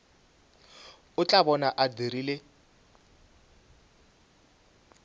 o tla bona a dirile